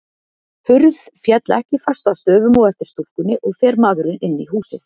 Hurð féll ekki fast að stöfum á eftir stúlkunni, og fer maðurinn inn í húsið.